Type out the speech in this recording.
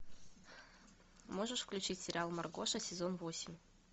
можешь включить сериал маргоша сезон восемь